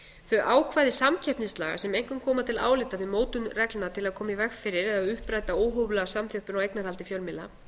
þau ákvæði samkeppnislaga sem einkum koma til álita við mótun reglna til að koma í veg fyrir eða uppræta óhóflega samþjöppun á eignarhaldi fjölmiðla